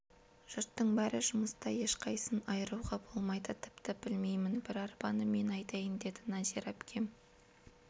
жұрттың бәрі жұмыста ешқайсысын айыруға болмайды тіпті білмеймін бір арбаны мен айдайын деді нәзира әпкем